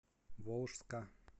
волжска